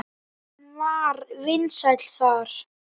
Hann var vinsæll þar.